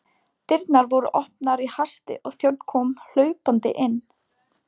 Dyrnar voru opnaðar í hasti og þjónn kom hlaupandi inn.